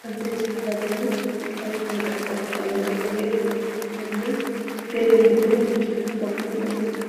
ሕብሪ ዝተኸድኑ ተጻወትቲ ይንቀሳቐሱ ኣለዉ፤ ገሊኦም ጻዕዳ ተኸዲኖም፡ ገሊኦም ድማ ብጫ ተኸዲኖም ኣለዉ።